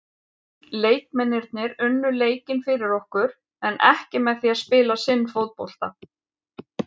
Leikmennirnir unnu leikinn fyrir okkur en ekki með því að spila sinn fótbolta.